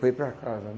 Foi para casa.